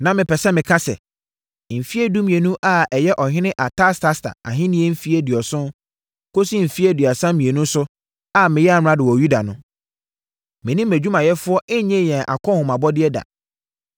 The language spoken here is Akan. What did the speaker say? Na mepɛ sɛ meka sɛ, mfeɛ dumienu a ɛyɛ ɔhene Artasasta ahennie mfeɛ aduonu kɔsi mfeɛ aduasa mmienu so a meyɛɛ amrado wɔ Yuda no, me ne mʼadwumayɛfoɔ nnyee yɛn akɔnhomabɔdeɛ da.